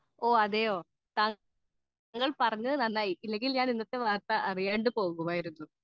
speaker 2 ഓഹ് അതെയോ താങ്കൾ പറഞ്ഞത് നന്നായി അല്ലെങ്കിൽ ഞാൻ ഇന്നത്തെ വാർത്തകൾ അറിയാണ്ട് പോകുമായിരുന്നു